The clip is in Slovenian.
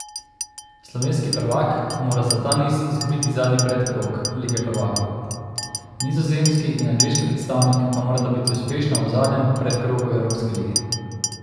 Slovenski prvak mora za ta niz izgubiti zadnji predkrog Lige prvakov, nizozemski in angleški predstavnik pa morata biti uspešna v zadnjem predkrogu Evropske lige.